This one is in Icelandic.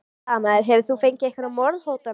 Blaðamaður: Hefur þú fengið einhverjar morðhótanir?